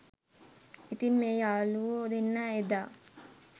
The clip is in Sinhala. ඉතින් මේ යාලුවො දෙන්නා එදා